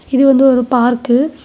இது வந்து ஒரு பார்க்கு .